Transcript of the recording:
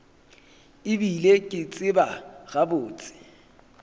e bile ke tseba gabotse